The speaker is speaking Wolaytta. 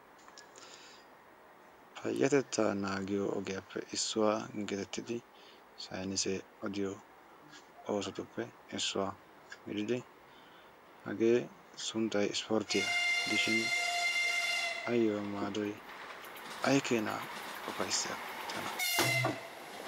Payyatettaa naagiyo ogiyappe issuwa geetettidi saynisee odiyo oosotuppe issuwa gididi hagee sunttayi ispporttiya gidishin ayyo maadoyi ay keenaa ufayssiyakko tana.